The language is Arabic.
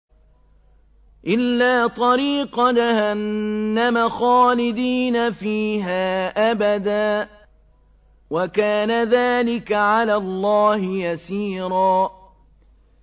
إِلَّا طَرِيقَ جَهَنَّمَ خَالِدِينَ فِيهَا أَبَدًا ۚ وَكَانَ ذَٰلِكَ عَلَى اللَّهِ يَسِيرًا